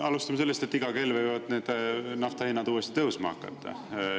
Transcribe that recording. Alustame sellest, et iga kell võivad need nafta hinnad uuesti tõusma hakata.